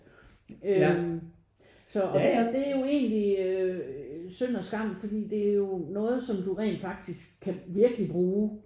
Øh så og det er jo egentlig synd og skam fordi der er jo noget som du rent faktisk kan virkelig bruge